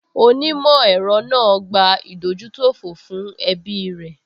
Onímọ̀ ẹ̀rọ náà gbà ìdójútòfò fún ẹbí rẹ̀